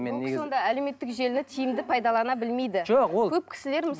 бұл кісі онда әлеуметтік желіні тиімді пайдалана білмейді жоқ ол көп кісілер